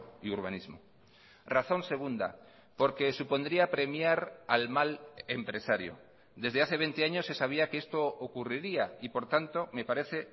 y urbanismo razón segunda porque supondría premiar al mal empresario desde hace veinte años se sabía que esto ocurriría y por tanto me parece